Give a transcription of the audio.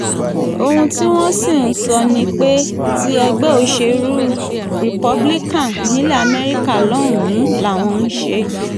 ohun tí wọ́n sì ń sọ ni pé tí ẹgbẹ́ òṣèlú republican nílẹ̀ america lọ́hùn-ún làwọn ń ṣe